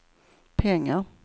pengar